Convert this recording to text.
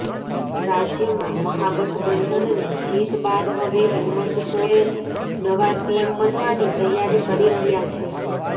રાજ્યમાં મહાગઠબંધનની જીત બાદ હવે હેમંત સોરેન નવા સીએમ બનવાની તૈયારી કરી રહ્યા છે